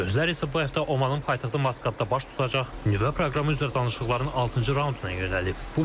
Gözlər isə bu həftə Omanın paytaxtı Maskatda baş tutacaq nüvə proqramı üzrə danışıqların altıncı raunduna yönəlib.